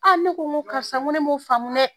A ne ko nko karisa ne m'o faamu dɛ